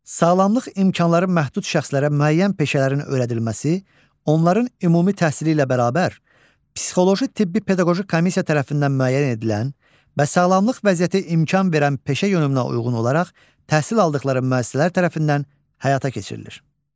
Sağlamlıq imkanları məhdud şəxslərə müəyyən peşələrin öyrədilməsi, onların ümumi təhsili ilə bərabər, psixoloji tibbi pedaqoji komissiya tərəfindən müəyyən edilən və sağlamlıq vəziyyəti imkan verən peşə yönümünə uyğun olaraq təhsil aldıqları müəssisələr tərəfindən həyata keçirilir.